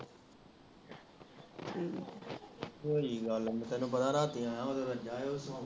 ਹੋਈਂ ਨੀ ਗੱਲ ਤੈਨੂੰ ਪਤਾ ਨਾ ਰਾਤੀ ਆਇਆਂ ਉਹਦੇ ਕੋਲ ਜਾਇਆਇਓ